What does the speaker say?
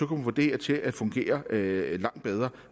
det her til at fungere langt bedre